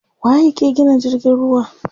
Waye yake gina jirgin ruwa?